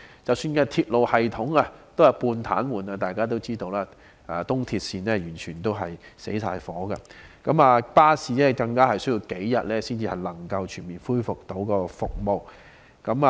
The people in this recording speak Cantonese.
即使鐵路系統也是半癱瘓狀態，大家也知道東鐵線是完全停頓的，而巴士更需要數天才能全面恢復提供服務。